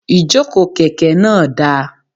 Ìjókòó kèké náà dáa